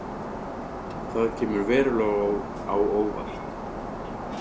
Það kemur verulega á óvart